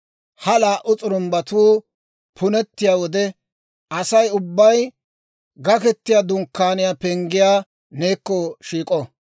Ha laa"u s'urumbbatuu punettiyaa wode, Asay ubbay Gaketiyaa Dunkkaaniyaa penggii neekko shiik'o.